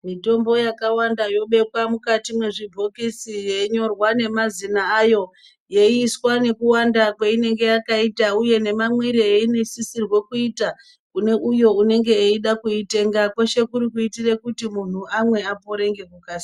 Mitombo yakawanda yobekwe mukati mezvibhokisi yeinyorwa nemazina ayo yeiiswa nekuwanda kwainenge yakaita uye nemamwire ainosisire kuita uye nemamwire ainosisirwa kuita kune uyo unenge eida kuitenga kweshe kuri kuitira kuti munhu amwe apore ngekukasira.